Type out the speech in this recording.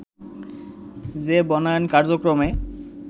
যে বনায়ন কার্যক্রমে